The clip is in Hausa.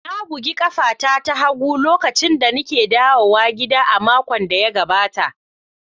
Na bugi ƙafata ta hagu lokacin da nake dawowa gida a makon da ya gaɓata.